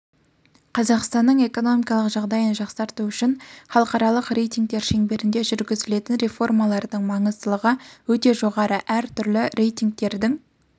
қазақстанның экономикалық жағдайын жақсарту үшін халықаралық рейтингтер шеңберінде жүргізілетін реформалардың маңыздылығы өте жоғары әр түрлі рейтингтердің